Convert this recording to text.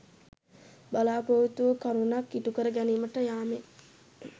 බලා‍පොරොත්තු වූ කරුණක් ඉටු කර ගැනීමට යාමෙන්